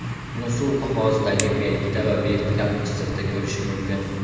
Uni suv qog‘ozdagi belgida va vertikal chiziqda ko‘rish mumkin.